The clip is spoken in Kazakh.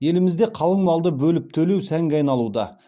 елімізде қалың малды бөліп төлеу сәнге айналуда